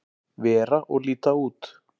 vera og líta út.